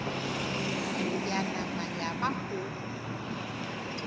ya nama ya ba go